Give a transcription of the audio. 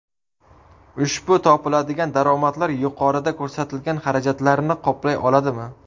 Ushbu topiladigan daromadlar yuqorida ko‘rsatilgan xarajatlarni qoplay oladimi?